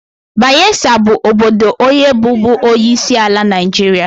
Bayesa bụ obodo onye bụbu onyeisiala Naijiria.